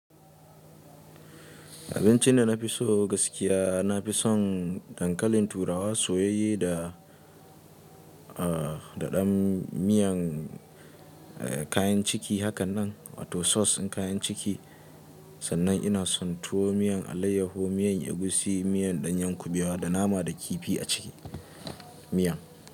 Abinci da na fi so gaskiya, na fi son dankalin turawa soyayye da, ah, daɗan miyan, eh, kayan ciki hakan nan, wato sos ɗin kayan ciki. Sannan ina son tuwo miyan alayyahu, miyan egusi, miyan ɗanyen kuɓewa da nama da kifi a ciki miyan.